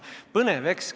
Põnev!